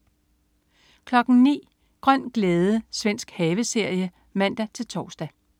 09.00 Grøn glæde. Svensk haveserie (man-tors)